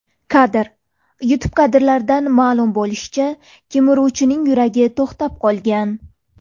Kadr: YouTube Kadrlardan ma’lum bo‘lishicha, kemiruvchining yuragi to‘xtab qolgan.